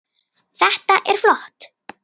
Þetta er flott.